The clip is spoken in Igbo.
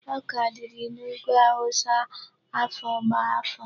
Ọka dịrị n'ugwu Hausa afọ gbá afọ.